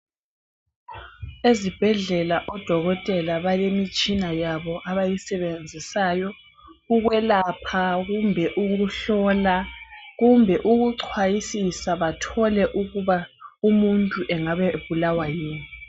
Ezibhedlela odokotela balemitshina yabo abayisebenzisayo ukwelapha kumbe ukuhlola kumbe ukucwayisisa bathole ukuba umuntu engaba ebulawa yini